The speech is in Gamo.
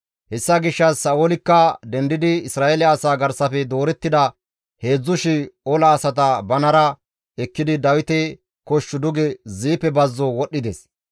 Hessa gishshas Sa7oolikka dendidi Isra7eele asaa garsafe doorettida 3,000 ola asata banara ekkidi Dawite kosh duge Ziife bazzo wodhdhides.